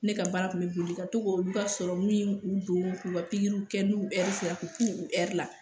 Ne ka baara tun bɛ boli ka to k'olu b'a don k'u ka pikiriw kɛ n'u sera k' k'u k'u la